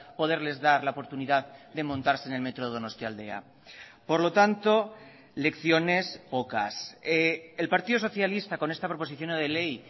poderles dar la oportunidad de montarse en el metro donostialdea por lo tanto lecciones pocas el partido socialista con esta proposición no de ley